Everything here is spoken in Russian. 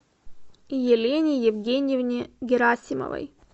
елене евгеньевне герасимовой